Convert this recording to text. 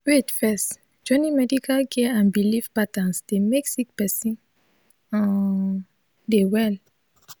wait first joining medical care and bilif patterns dey mek sik peron um dey well